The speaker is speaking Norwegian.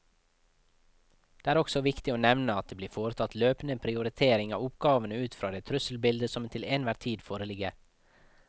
Det er også viktig å nevne at det blir foretatt løpende prioritering av oppgavene ut fra det trusselbildet som til enhver tid foreligger.